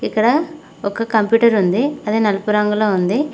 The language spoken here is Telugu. ఇక్కడ ఒక కంప్యూటర్ ఉంది అది నలుపు రంగులో ఉంది.